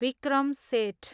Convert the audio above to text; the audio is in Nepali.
विक्रम सेठ